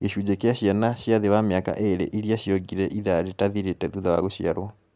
Gĩcunji kĩa ciana cia thĩ wa mĩaka ĩĩrĩ iria ciongire ithaa rĩtathirĩte thutha wa gũciarwo